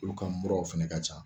Olu ka muraw fɛnɛ ka ca